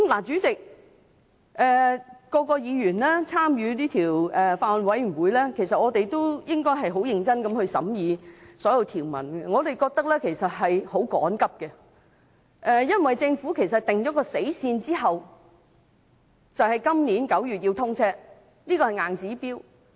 主席，法案委員會所有委員，應該很認真審議所有條文，我們認為時間相當趕急，因為政府定下"死線"，高鐵要在今年9月通車，這是一個硬指標。